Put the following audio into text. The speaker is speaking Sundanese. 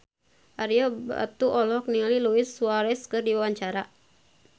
Ario Batu olohok ningali Luis Suarez keur diwawancara